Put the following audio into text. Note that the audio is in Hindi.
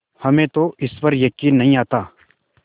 हमें तो इस पर यकीन नहीं आता